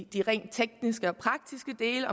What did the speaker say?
de rent tekniske og praktiske dele